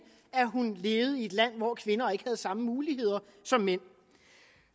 at hun levede i et land hvor kvinder ikke havde samme muligheder som mænd